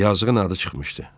Yazığın adı çıxmışdı.